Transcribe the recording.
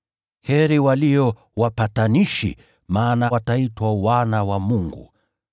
Heri walio wapatanishi, maana hao wataitwa wana wa Mungu.